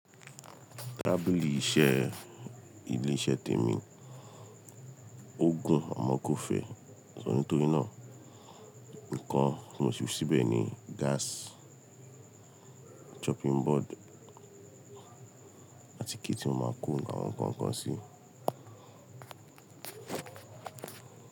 Tábìlì iṣẹ́ ilé iṣẹ́ tèmi, ó gùn àmọ́ kó fẹ̀, nítorí náà nǹkan tí mo fi síbẹ̀ ni gáàsì, chopping board àti kí tí mo máa ń kó àwọn nǹkan kan sí.